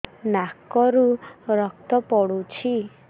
ନାକରୁ ରକ୍ତ ପଡୁଛି